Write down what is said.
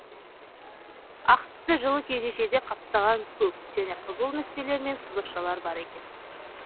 ақ түсті жылы кеудешеде қаптаған көк және қызыл нүктелер мен сызықшалар бар екен